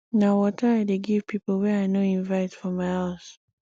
na water i dey give pipo wey i no invite for my house